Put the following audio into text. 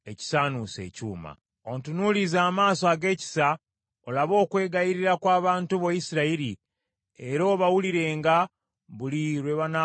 “Ontunuulize amaaso ag’ekisa olabe okwegayirira kw’abantu bo Isirayiri, era obawulirenga buli lwe banaakukaabiriranga.